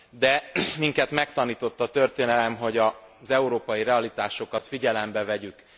De minket megtanított a történelem arra, hogy az európai realitásokat figyelembe vegyük.